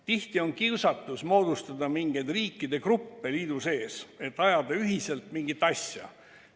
Tihti on kiusatus moodustada mingeid riikide gruppe liidu sees, et ajada ühiselt mingit asja.